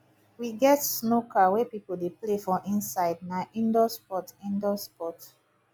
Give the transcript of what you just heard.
we get snooker wey pipo dey play for inside na indoor sport indoor sport